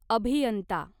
अभियंता